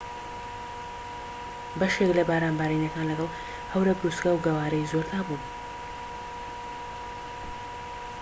بەشێک لە باران بارینەکان لەگەڵ هەورە بروسکە و گەوارەی زۆردا بوون